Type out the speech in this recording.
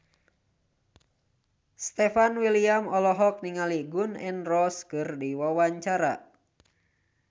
Stefan William olohok ningali Gun N Roses keur diwawancara